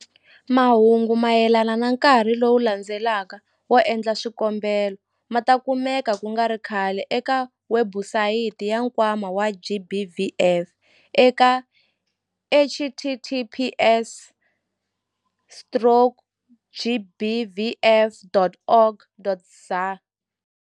Mahungu mayelana na nkarhi lowu landzelaka wo endla swikombelo ma ta kumeka ku nga ri khale eka webusayiti ya Nkwama wa GBVF eka https- gbvf.org.za.